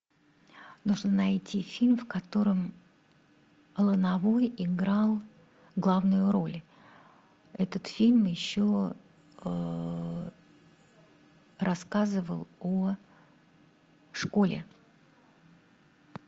нужно найти фильм в котором лановой играл главную роль этот фильм еще рассказывал о школе